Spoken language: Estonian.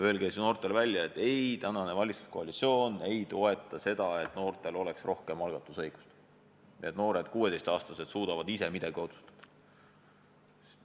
Öelge siis noortele välja, et valitsuskoalitsioon ei toeta seda, et noortel oleks rohkem algatusõigust, et 16-aastased saaksid ise midagi otsustada.